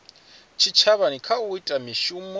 tshitshavha kha u ita mishumo